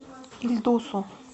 ильдусу